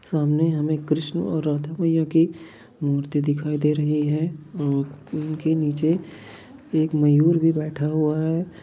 सामने हमे कृष्ण और राधा मैया की मूर्ति दिखाई दे रही है औ उनके निचे एक मयूर भी बैठा हुआ है|